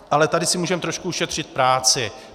Ale tady si můžeme trošku ušetřit práci.